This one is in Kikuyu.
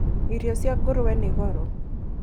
Irio cia ngũrwe nĩ goro